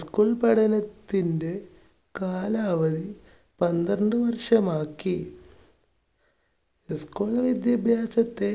school പഠനത്തിൻറെ കാലാവധി പന്ത്രണ്ട് വർഷമാക്കി. school വിദ്യാഭ്യാസത്തെ